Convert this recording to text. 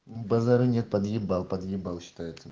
базара нет подъебал подъебал щитаеться